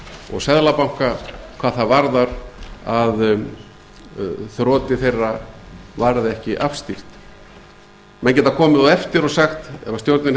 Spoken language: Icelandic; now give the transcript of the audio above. og seðlabanka hvað það varðar að þroti þeirra varð ekki afstýrt menn geta komið á eftir og sagt ef stjórnin